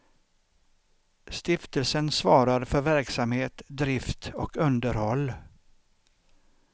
Stiftelsen svarar för verksamhet, drift och underhåll.